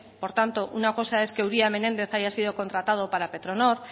por tanto una cosa es que uría y menéndez haya sido contratado para petronor